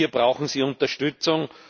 Hier brauchen sie Unterstützung.